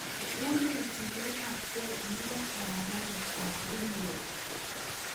Unee chilet ap ge en paraparet ap ringroad